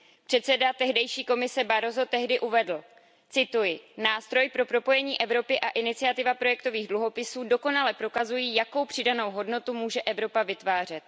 Předseda tehdejší Evropské komise Barroso tehdy uvedl Nástroj pro propojení Evropy a iniciativa projektových dluhopisů dokonale prokazují, jakou přidanou hodnotu může Evropa vytvářet.